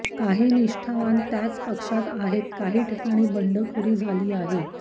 काही निष्ठवान त्याच पक्षात आहेत काही ठिकाणी बंडखोरी झाली आहे